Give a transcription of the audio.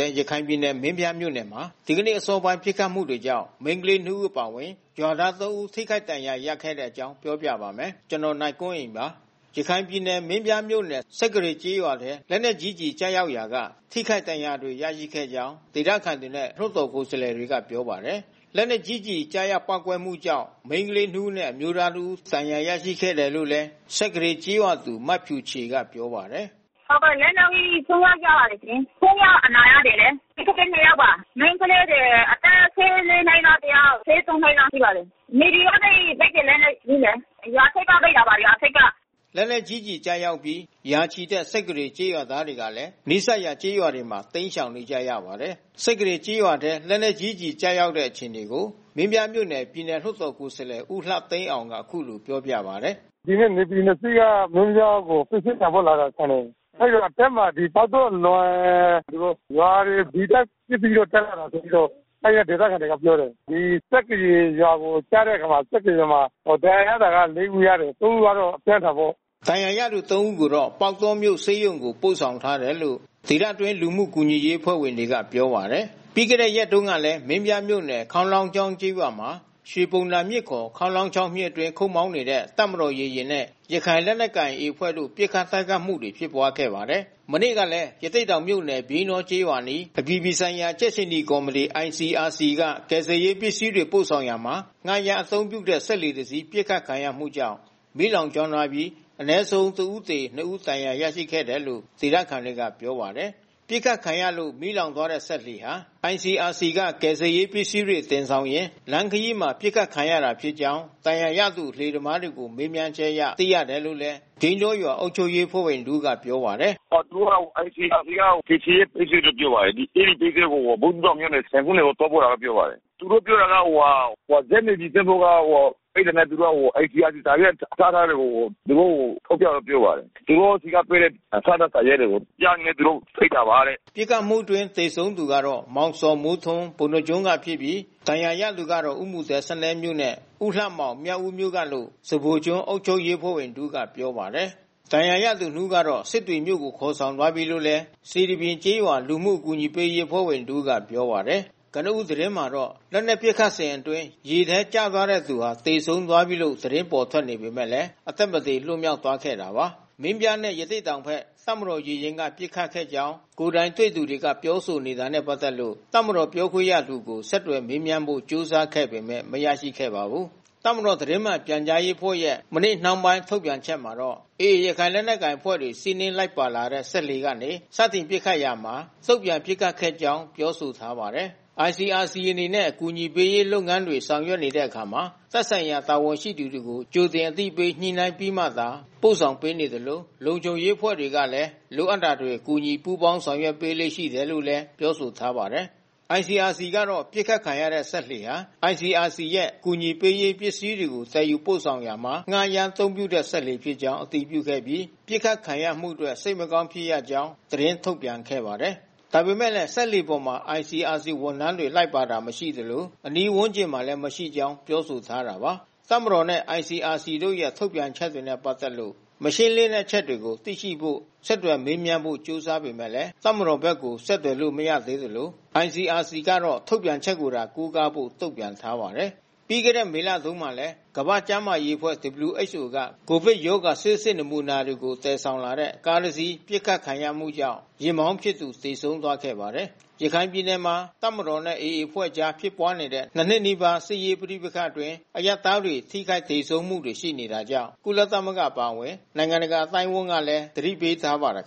ဲ ရခိုင်ပြည်နယ် မင်းပြားမြို့နယ်မှာ ဒီနေ့အစောပိုင်း ပစ်ခတ်မှုတွေကြာင့် မိန်းကလေး နှစ် ဦး အပါအဝင် ရွာသား သုံး ဦး ထိခိုက်ဒဏ်ရာ ရခဲ့တဲ့အကြောင်းကို ဗွီအိုအေမြန်မာပိုင်း သတင်းထောက် ကိုနိုင်ကွန်းအိန်က ပြောပြပေးပါမယ်။ ရခိုင်ပြည်နယ်မင်းပြားမြို့နယ် စက္ကရေကျေးရွာထဲ လက်နက်ကြီး ကျည်ကျရောက်ရာက ထိခိုက်ဒဏ်ရာတွေ ရရှိခဲ့တဲ့အကြောင်း ဒေသခံတွေနဲ့ လွှတ်တော် ကိုယ်စားလှယ်တွေက ပြောပါတယ်။ လက်နက်ကြီးကျည် ကျရောက်ပေါက်ကွဲမှုကြောင့် မိန်းကလေးနှစ်ဦးနဲ့ အမျိုးသား တဦးဒဏ်ရာ ရရှိခဲ့တယ်လို့လည်း စက္ကရေကျေးရွာသူ မဖြူချေကပြောပါတယ်။ လက်နက်ကြီး ဆိုးဆိုးရွားရွား ကျပါတယ်ရှင်။ သုံးယောက်အနာရနေတယ်။ မိန်းကလေး နှစ်ယောက်ပါ။ မိန်းကလေးတွေ အသက် ၁၄ နှစ်ကတယောက် ၁၃ နှစ်လောက်ရှိပါတယ်။ NAVY ကနေ စက်သေနတ်နဲ့ပစ်တယ်။ ရွာထိပ်က ပစ်တာပါ။ လက်နက်ကြီး ကျည်ကျရောက်အပြီး ရာချီတဲ့ စက္ကရေကျေးရွာသားတွေကလည်း နီးစပ်ရာကျေးရွာတွေမှာ တိမ်းရှောင်နေကြရပါတယ်။ စက္ကရေကျေးရွာထဲ လက်နက် ကြီးကျည်ကျတဲ့ အခြေအနေကို မင်းပြားမြို့နယ် ပြည်နယ်လွှတ်တော် ကိုယ်စားလှယ် ဦးလှသိန်းအောင်က အခုလိုပြောပါတယ်။ NAVY နှစ်စီးက မင်းပြားကိုပစ္စည်းတင်ဖို့လာတာထင်တယ်။ အဲဒီလိုအဆင်းမှာ ပေါက်တောအလွန် သူတို့ရွာတွေ ဒီအတိုင်းပစ်ပြီး တက်လာတယ်ဆိုပြီးတော့ အဲဒီက ဒေသခံတွေကပြောတယ်။ ဒီစက္ကရေရွာကိုကျတဲ့အခါမှာ စက္ကရရွာမှာ ဒဏ်ရာရတာ လေး ဦးရတယ်။ သုံး ဦးကတော့အပြင်းထန်ပေါ့။ ဒဏ်ရာရသူ သုံး ဦးကိုတော့ပေါက်တောမြို့ဆေးရုံကို ပို့ဆောင်ထားတယ်လို့ ဒေသတွင်းလူမှုကူညီရေးအဖွဲ့ဝင်တွေကပြောပါတယ်။ ပြီးခဲ့တဲ့ရက်တွေတုန်းကလည်း မင်းပြားမြို့နယ် ခေါင်းလောင်းချောင်းကျေးရွာမှာ ရွှေဘုံသာမြစ် (ခ) ခေါင်းလောင်းချောင်း မြစ်အတွင်း ခုတ်မောင်းနေတဲ့ တပ်မတော်ရေယာဉ်နဲ့ ရခိုင်လက်နက်ကိုင် AA အဖွဲ့တို့ ပစ်ခတ်တိုက်ခိုက်မှုတွေ ဖြစ်ပွါးခဲ့ပါတယ်။ မနေ့ကလည်း ရသေ့တောင်မြို့နယ် ပြိန်းတောကျေးရွာအနီး အပြည်ပြည်ဆိုင်ရာ ကြက်ခြေနီကော်မတီ (ICRC) က ကယ်ဆယ်ရေးပစ္စည်းတွေ ပို့ဆောင်ရာမှာ ငှားရမ်းအသုံးပြုတဲ့ စက်လှေတစင်း ပစ်ခတ်ခံရမှုကြောင့် မီးလောင်ကျွမ်းသွားပြီး အနည်းဆုံး တဦးသေ၊ နှစ် ယောက် ဒဏ်ရာရခဲ့တယ်လို့ ဒေသခံတွေကပြောပါတယ်။ ပစ်ခတ်ခံရလို့ မီးလောင်သွားတဲ့စက်လှေဟာ ICRC က ကယ်ဆယ်ရေးပစ္စည်းတွေ တင်ဆောင်လာရင်း လမ်းခရီးမှာ ပစ်ခတ်ခံခဲ့ရတာဖြစ်ကြောင်း ဒဏ်ရာရသူလှေသမားတွေကို မေးမြန်းချက်အရ သိရတယ်လို့လည်း ပြိန်းတောရွာအုပ်ချုပ်ရေးအဖွဲ့ဝင်တဦးက ပြောပါတယ်။ ICRC က ကယ်ဆယ်ရေးပစ္စည်းလို့ ပြောပါတယ်။ အဲဒီပစ္စည်းကို ဘူးသီးတောင်မြို့နယ် ဆင်ခုန်းတိုင်ကို သွားပို့တယ်လို့ ပြောပါတယ်။ သူတို့ ပြောတာကဇက် NAVY ကတွေ့တာနဲ့က သူတို့က ICRC စာရွက် အထောက်ထားတွေကို သူတို့ကို ထုတ်ပြတယ်လို့ပြောပါတယ်။ သူတို့ဆီကပေးတဲ့ အထောက်အထား စာရွက်တွေ။ ပြတာနဲ့ သူတို့ ပစ်တာပါတဲ့။" ပစ်ခတ်မှုအတွင်း သေဆုံးသူကတော့ မောင်ဇော်မိုးထွန်း ပုဏ္ဏားကျွန်းကဖြစ်ပြီး ဒဏ်ရာရသူကတော့ ဦးမူသဲ စနဲမြို့နဲ့ ဦးလှမောင် မြောက်ဦး မြို့နယ်ကလို့ စဖိုကျွန်းအုပ်ချုပ်ရေးအဖွဲ့ဝင်တဦးကဆိုပါတယ်။ ဒဏ်ရာရသူနှစ်ဦးကတော့ စစ်တွေမြို့ကို ခေါ်ဆောင်သွားပြီးလို့ စေတီပြင်ကျေးရွာလူမှုကူညီရေးအဖွဲ့ဝင် တဦးက ပြောပါတယ်။ ကနဦးသတင်းမှာတော့ လက်နက်ပစ်ခတ်နေစဉ်အတွင်း ရေထဲကျသွားတဲ့သူဟာ သေဆုံးပြီးလို့သတင်းပေါ်ထွက်ပေမဲ့ အသက်မသေ လွတ်မြောက်သွားခဲ့တာပါ။ မင်းပြားနဲ့ ရသေ့တောင်ဘက် တပ်မတော်ရေယာဉ်က ပစ်ခတ်ခဲ့ကြောင်း ကိုယ်တိုင်တွေ့သူတွေက ပြောဆိုနေတာနဲ့ ပတ်သက်လို့ တပ်မတော်ပြောခွင့်ရသူကို ဆက်သွယ်မေးမြန်းဖို့ ကြိုးစားခဲ့ပေမဲ့ မရခဲ့ပါဘူး။ တပ်မတော် သတင်းမှန်ပြန်ကြားရေးအဖွဲ့ရဲ့ မနေ့နှောင်းပိုင်း ထုတ်ပြန်ချက်မှာတော့ AA ရခိုင်လက်နက်ကိုင်အဖွဲ့တွေ စီးနင်းလိုက်ပါလာတဲ့ စက်လှေကနေ စတင်ပစ်ခတ်ရာက တုံ့ပြန်ပစ်ခတ်ခဲ့ကြောင်း ပြောဆိုထားပါတယ်။ ICRC အနေနဲ့ အကူအညီပေးရေး လုပ်ငန်းတွေ ဆောင်ရွက်တဲ့အခါမှာ သက်ဆိုင်ရာ တာဝန်ရှိသူတွေကို ကြိုတင် အသိပေးညှိနှိုင်းပြီးမှသာ ပို့ဆောင်ပေးနေသလို လုံခြုံရေးအဖွဲ့တွေကလည်း လိုအပ်တာတွေ ကူညီ ပူးပေါင်းဆောင်ရွက်ပေးလေ့ ရှိတယ်လို့လည်း ပြောဆိုထားပါတယ်။ ICRC ကတော့ ပစ်ခတ်ခံရတဲ့ စက်လှေဟာ ICRC ရဲ့ အကူအညီပေးရေး ပစ္စည်းတွေကို သယ်ယူပို့ဆောင်ရာမှာ ငှားရမ်းအသုံးပြုတဲ့ စက်လှေဖြစ်ကြောင်း အတည်ပြုခဲ့ပြီး ပစ်ခတ်ခံရမှုအတွက် စိတ်မကောင်းဖြစ်ရကြောင်း သတင်းထုတ်ပြန်ခဲ့ပါတယ်။ ဒါပေမဲ့လည်း စက်လှေပေါ်မှာ ICRC ဝန်ထမ်းတွေ လိုက်ပါတာ မရှိသလို၊ အနီးဝန်းကျင်မှာ မရှိကြောင်းလည်း ပြောဆိုထားတာပါ။ တပ်မတော်နဲ့ ICRC တို့ရဲ့ ထုတ်ပြန်ချက်တွေနဲ့ ပတ်သက်လို့ မရှင်းလင်းတဲ့ အချက်အလက်တွေကို သိနိုင်ဖို့ ဆက်သွယ်မေးမြန်းဖို့ ကြိုးစားပေမဲ့ တပ်မတော်ဘက်ကို ဆက်သွယ်လို့ မရသေးသလို ICRC ကတော့ ထုတ်ပြန်ချက်ကိုသာ ကိုးကားဖို့ တုန့်ပြန်ထားပါတယ်။ ပြီးခဲ့တဲ့ ဧပြီလမှာတုန်းကလည်း ကမ္ဘာ့ကျန်းမာရေးအဖွဲ့ (WHO) က ကိုဗစ်ရောဂါဆေးစစ် နမူနာတွေကို သယ်ဆောင်လာတဲ့ ကားတစင်း ပစ်ခတ်ခံရမှုကြောင့် ယာဉ်မောင်းဖြစ်သူ သေဆုံးခဲ့ဖူးပါတယ်။ ရခိုင်ပြည်နယ်မှာ တပ်မတော်နဲ့ AA အဖွဲ့တို့ကြား ဖြစ်ပွားနေတဲ့ ၂ နှစ်နီးပါးကြာ စစ်ရေးပဋိပက္ခအတွင်း အရပ်သား တွေ ထိခိုက်သေဆုံးမှုတွေ ရှိနေတာကြောင့် ကုလသမဂ္ဂ အပါအဝင် နိုင်ငံတကာအသိုင်းအဝန်းကလည်း သတိပေးထားပါတယ်။